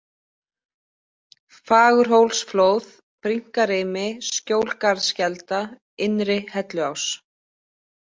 Fagurhólsflóð, Brynkarimi, Skjólgarðskelda, Innri-Helluás